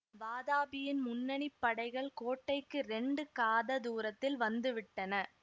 வாதாபியின் முன்னணி படைகள் கோட்டைக்கு இரண்டு காத தூரத்தில் வந்து விட்டன